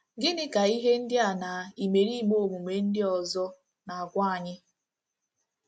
Gịnị ka ihe ndị a na imerime ọmụmụ ndị ọzọ na-agwa anyị?